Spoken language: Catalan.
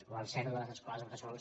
o el zero de les escoles bressol